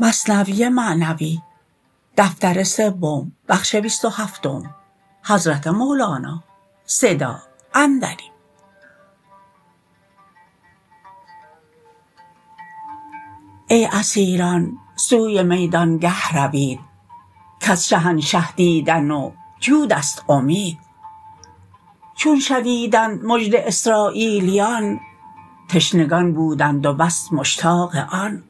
ای اسیران سوی میدانگه روید کز شهانشه دیدن و جودست امید چون شنیدند مژده اسراییلیان تشنگان بودند و بس مشتاق آن